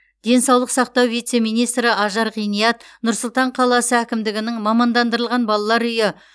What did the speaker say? денсаулық сақтау вице министрі ажар ғиният нұр сұлтан қаласы әкімдігінің мамандандырылған балалар үйі